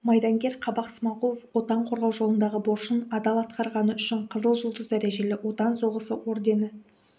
майдангер қабақ смағұлов отан қорғау жолындағы борышын адал атқарғаны үшін қызыл жұлдыз дәрежелі отан соғысы ордені